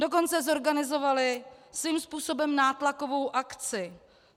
Dokonce zorganizovali svým způsobem nátlakovou akci.